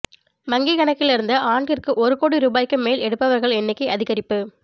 வங்கிக் கணக்கில் இருந்து ஆண்டிற்கு ஒரு கோடி ரூபாய்க்கு மேல் எடுப்பவர்கள் எண்ணிக்கை அதிகரிப்பு